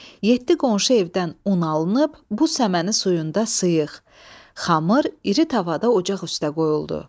Yeddi qonşu evdən un alınıb bu səməni suyunda sıyıq, xamır iri tavada ocaq üstə qoyuldu.